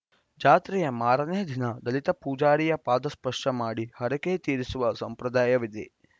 ಜಾತ್ರೆಯ ಮೂರನೇ ದಿನ ದಲಿತ ಪೂಜಾರಿಯ ಪಾದ ಸ್ಪರ್ಶ ಮಾಡಿ ಹರಕೆ ತೀರಿಸುವ ಸಂಪ್ರದಾಯವಿದೆ